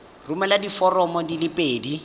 romela diforomo di le pedi